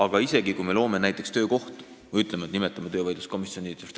Vahest loome näiteks töökohtu, ütleme, et nimetame töövaidluskomisjoni ümber?